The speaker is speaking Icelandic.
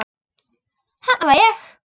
Þarna var ég.